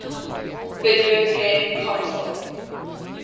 video game console